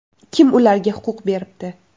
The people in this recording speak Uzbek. Kim ularga huquq beribdi?